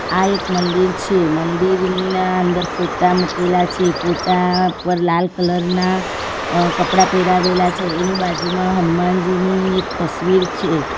આ એક મંદિર છે મંદિરના અંદર ફોટા મુકેલા છે ફોટા પર લાલ કલર ના અ કપડાં પેરાવેલા છે એનો બાજુમાં હનમાનજીની એક તસવીર છે.